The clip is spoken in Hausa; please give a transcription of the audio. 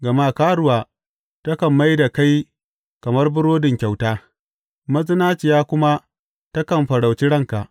Gama karuwa takan mai da kai kamar burodin kyauta, mazinaciya kuma takan farauci ranka.